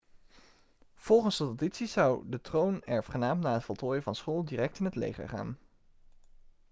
volgens de traditie zou de troonerfgenaam na het voltooien van school direct in het leger gaan